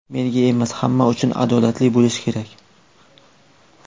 Menga emas, hamma uchun adolatli bo‘lishi kerak.